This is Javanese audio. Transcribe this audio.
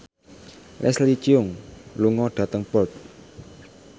Leslie Cheung lunga dhateng Perth